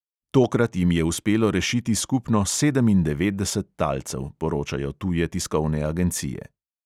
Tokrat jim je uspelo rešiti skupno sedemindevetdeset talcev, poročajo tuje tiskovne agencije.